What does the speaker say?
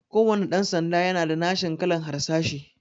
Kuwanna ɗan sanda yana da nashin kalan harsashi